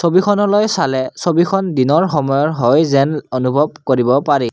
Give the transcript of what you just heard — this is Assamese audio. ছবিখনলৈ চালে ছবিখন দিনৰ সময়ৰ হয় যেন অনুভৱ কৰিব পাৰি।